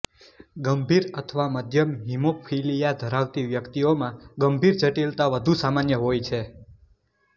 ગંભીર અથવા મધ્યમ હીમોફીલિયા ધરાવતી વ્યક્તિઓમાં ગંભીર જટીલતા વધુ સામાન્ય હોય છે